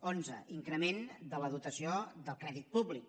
onze increment de la dotació del crèdit públic